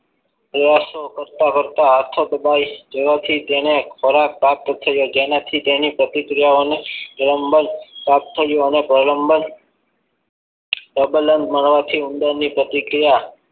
આ શુ કરતા કરતા હાથો દબાવી થવાથી તેને જેનાથી તેન પ્રતિક્રિયાઓને પ્રલંબન પ્રાપ્ત થયું અને પ્રબલન માળવાથી ઉંદરની પ્રતિક્રિયા